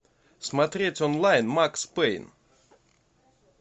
смотреть онлайн макс пейн